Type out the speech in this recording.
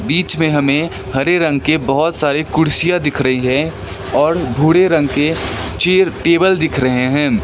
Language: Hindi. बीच में हमें हरे रंग की बहुत सारी कुर्सियां दिख रही है और भूरे रंग के चेयर टेबल दिख रहे हैं।